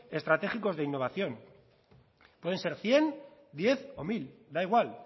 estratégicos de innovación pueden ser cien diez o mil da igual